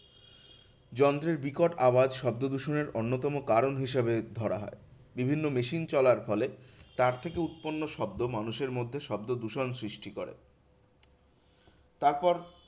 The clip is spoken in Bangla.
যন্ত্রের বিকট আওয়াজ শব্দদূষণের অন্যতম কারণ হিসেবে ধরা হয়। বিভিন্ন machine চলার ফলে তার থেকে উৎপন্ন শব্দ মানুষের মধ্যে শব্দদূষণ সৃষ্টি করে। তারপর